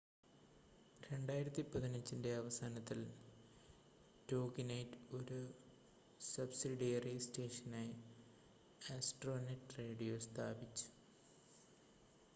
2015-ൻ്റെ അവസാനത്തിൽ ടോഗിനെറ്റ് ഒരു സബ്‌സിഡിയറി സ്റ്റേഷനായി ആസ്ട്രോനെറ്റ് റേഡിയോ സ്ഥാപിച്ചു